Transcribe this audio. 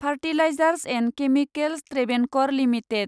fertilisers and chemicals Travancore limited